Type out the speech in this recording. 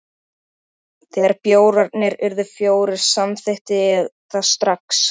Setjið öll hráefnin í skál og hrærið saman.